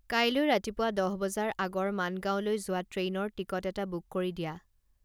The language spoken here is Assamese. কাইলৈ ৰাতিপুৱা দহ বজাৰ আগৰ মানগাওঁলৈ যোৱা ট্ৰেইনৰ টিকট এটা বুক কৰি দিয়া